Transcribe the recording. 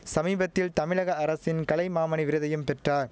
சமீபத்தில் தமிழக அரசின் கலைமாமணி விருதையும் பெற்றார்